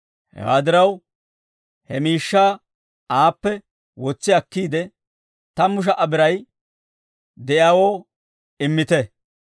Hewaa diraw, he miishshaa aappe wotsi akkiide, tammu sha"a biray de'iyaawoo immite.